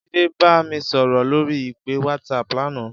Jide bá mi sòrò lóri ipé wàtsáp làná